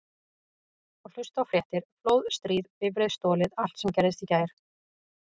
Og hlusta á fréttir: flóð, stríð, bifreið stolið allt sem gerðist í gær.